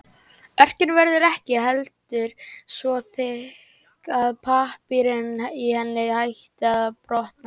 Örkin verður ekki heldur svo þykk að pappírinn í henni hætti að brotna.